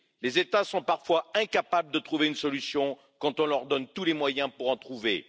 Les États sont parfois incapables de trouver une solution quand on leur donne tous les moyens pour en trouver.